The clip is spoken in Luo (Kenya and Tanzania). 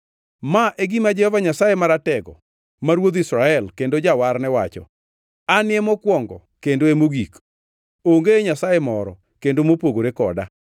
“Ma e gima Jehova Nyasaye Maratego ma Ruodh Israel kendo Jawarne wacho: Anie mokwongo kendo e mogik; onge Nyasaye moro kendo mopogore koda.